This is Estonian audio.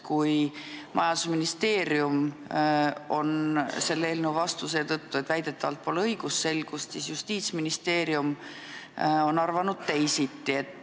Kui majandusministeerium on selle eelnõu vastu sellepärast, et väidetavalt pole õigusselgust, siis Justiitsministeerium on arvanud teisiti.